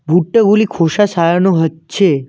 ভুট্টাগুলি খোসা ছাড়ানো হচ্ছে।